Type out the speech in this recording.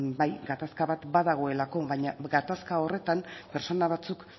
bai gatazka bat dagoelako baina gatazka horretan pertsona batzuk